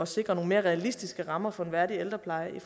sikre nogle mere realistiske rammer for en værdig ældrepleje